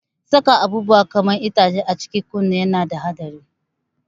Saka abubuwa kaman itace a cikin kunne yana da haɗari.